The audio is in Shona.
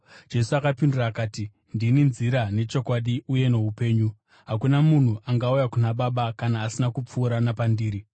Jesu akapindura akati, “Ndini nzira nechokwadi uye noupenyu. Hakuna munhu angauya kuna Baba kana asina kupfuura napandiri.